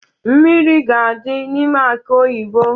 Mmiri ga-adi n'ime aki oyibo